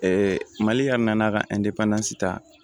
mali yɛrɛ nan'a ka ta